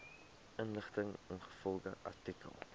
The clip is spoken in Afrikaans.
inligting ingevolge artikel